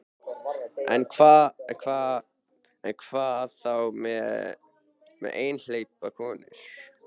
En hvað þá með einhleypar konur?